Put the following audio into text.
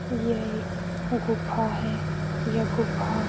यह एक गुफा है। यह गुफा --